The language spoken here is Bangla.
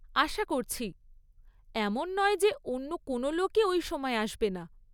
আশা করছি। এমন নয় যে অন্য কোনও লোকই ওই সময় আসবে না।